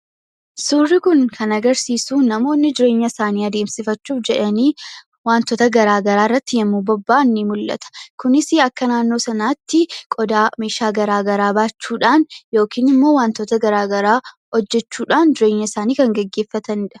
Suurri kun kan agarsiisu namoonni jireenya isaanii adeemsifachuuf jedhanii waantoota garaa garaa irratti yeroo bobba'an mul'ata. Kunis akka naannoo sanaatti qodaa, meeshaa garaa garaa baachuudhaan yookiin wantoota garaa garaa hojjechuudhaan jireenya isaanii kan gaggeeffatanidha.